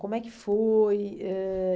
Como é que foi? Ãh